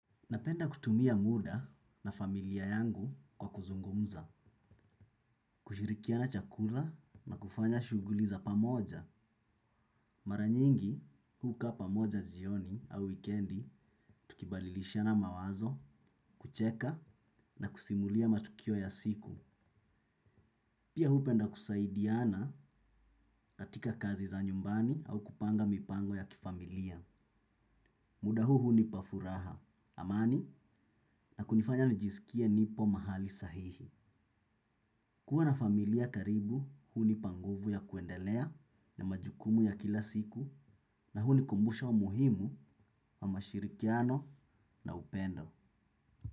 Napenda kutumia muda na familia yangu kwa kuzungumza, kushirikiana, chakula na kufanya shuguli za pamoja. Mara nyingi, kukaa pamoja jioni au weekendi, tukibalilishana mawazo, kucheka na kusimulia matukio ya siku. Pia hupenda kusaidiana katika kazi za nyumbani au kupanga mipango ya kifamilia. Muda huu hunipa furaha, amani na kunifanya nijisikie nipo mahali sahihi. Kuwa na familia karibu hunipa nguvu ya kuendelea na majukumu ya kila siku na hunikumbusha u muhimu wa mashirikiano na upendo.